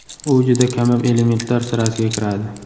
U juda kamyob elementlar sirasiga kiradi.